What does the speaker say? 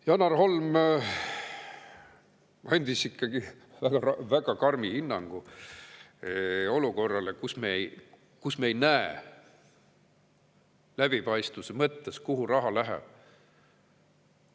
Janar Holm andis ikka väga karmi hinnangu olukorrale, kus läbipaistvuse me ei näe, kuhu raha läheb.